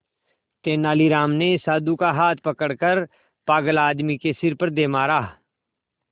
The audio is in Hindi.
तेनालीराम ने साधु का हाथ पकड़कर पागल आदमी के सिर पर दे मारा